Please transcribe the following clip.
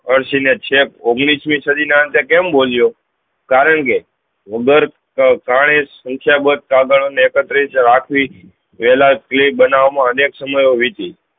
અરસી ને છેક ઓઘ્નીશ્વી સદી ના તે કેમ બોલ્યો કારણ કે ઉધર કાણે સંખ્યા કાગળ ને આકાત્રિત રાખવી વેલા કલી બનવા મા અનેક સમયે વીતી